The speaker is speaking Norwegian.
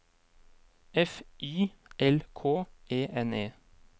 F Y L K E N E